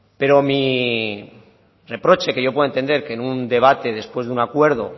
pero mi reproche que yo puedo entender que en un debate después de un acuerdo